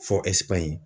Fɔ ɛsipiɲi